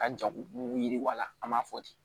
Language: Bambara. Ka jago yiriwa an b'a fɔ ten